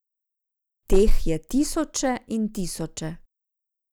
Teh je tisoče in tisoče.